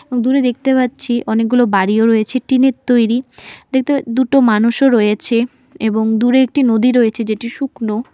দূরে দেখতে পাচ্ছি অনেকগুলো বাড়িও রয়েছে টিন -এর তৈরি দেখতে দুটো মানুষও রয়েছে এবং দূরে একটি নদী রয়েছে যেটি শুকনো।